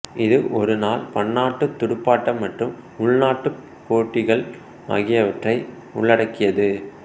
இது ஒருநாள் பன்னாட்டுத் துடுப்பாட்டம் மற்றும் உள்நாட்டுப் போட்டிகள் ஆகியவற்றை உள்ளடக்கியது